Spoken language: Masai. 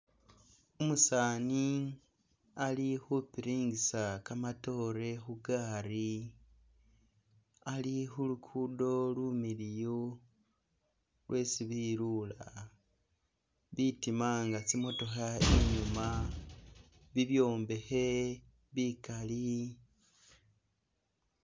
Umusaani ali khupiringisa kamatoore khu gari ali khu lugudo lumiliyu lwesi bilula. Bitima nga tsimotokha, ibyuuma, bibyombekhe bikali.